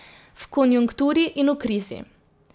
V konjunkturi in v krizi.